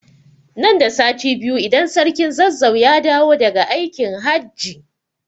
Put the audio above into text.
Nan da sati biyu idan sarkin Zazzau ya dawo da ga aikin hajji